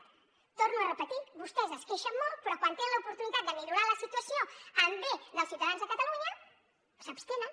ho torno a repetir vostès es queixen molt però quan tenen l’oportunitat de millorar la situació pel bé dels ciutadans de catalunya s’abstenen